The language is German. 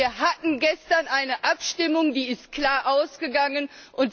Wir hatten gestern eine Abstimmung, die klar ausgegangen ist.